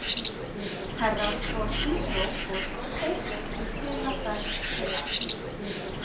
Herra Toshizo fór einn í sina ferð til Asíu.